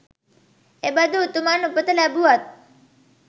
එබඳු උතුමන් උපත ලැබූවත්